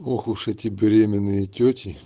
ох уж эти беременные тёти